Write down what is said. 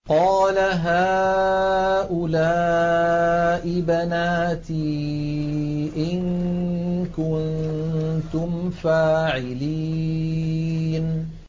قَالَ هَٰؤُلَاءِ بَنَاتِي إِن كُنتُمْ فَاعِلِينَ